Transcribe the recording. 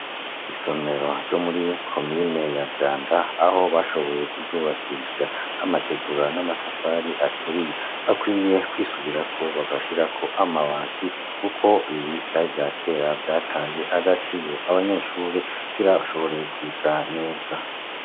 Isomero ryo muri komine ya Vyanda, aho bashoboye kuryubakisha amategura n'amatafari aturiye. Bakwiriye kwisubirako bagashirako amabati kuko ibi vyari ivyakera vyataye agaciro. Abanyeshuri kugira bashobore kwiga neza.